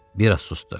Bir az susdu.